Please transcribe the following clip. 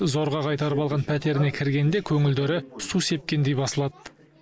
зорға қайтарып алған пәтеріне кіргенде көңілдері су сепкендей басылады